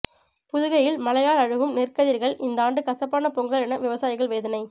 புதுகையில் மழையால் அழுகும் நெற்கதிர்கள் இந்தாண்டு கசப்பான பொங்கல் என விவசாயிகள் வேதனை